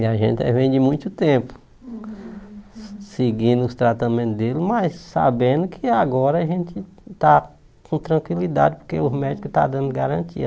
E a gente eh vem de muito tempo, seguindo os tratamentos dele, mas sabendo que agora a gente está com tranquilidade, porque os médicos estão dando garantia